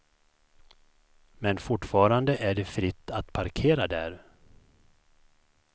Men fortfarande är det fritt att parkera där.